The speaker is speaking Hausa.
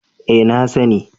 Eh na sani